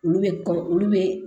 Olu bɛ kɔ olu bɛ